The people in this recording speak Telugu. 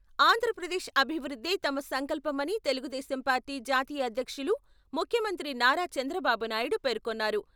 ఆంధ్రప్రదేశ్ అభివృద్ధే తమ సంకల్పమని తెలుగుదేశం పార్టీ జాతీయ అధ్యక్షులు, ముఖ్యమంత్రి నారా చంద్రబాబునాయుడు పేర్కొన్నారు.